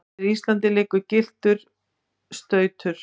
yfir Íslandi liggur gylltur stautur.